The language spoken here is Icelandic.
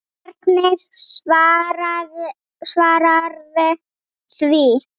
Hvernig svararðu því?